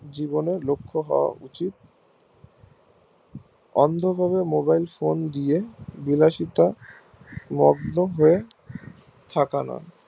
জীবনের লক্ষ হওয়া উচিত অন্ধকারে mobilephone দিয়ে বিলাসিতা মগ্ন হয় থাকা না